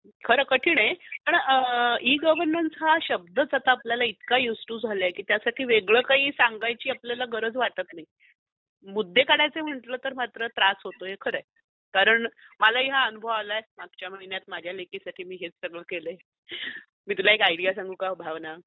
खर कठिन आहे, पण ई -गवर्नन्स हा शब्द च आपल्याला इतका यूज टू झाला आहे की त्यासाठी काही वेगळ सांगायची आपल्याला गरजच वाटत नाही, मुद्दे काढायचे म्हंटल तर त्रास होतो हे खर आहे, कारण मला ही हा अनुभव आला आहे मागच्या महिन्यात माझ्या लेकिसाठी मी हे सगळ केलय, मी तुला १ आयडिया सांगू का भावना